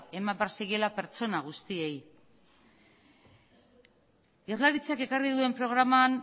eman behar zaiela pertsona guztiei jaurlaritzak ekarrik duen programan